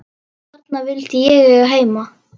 Þarna vildi ég eiga heima.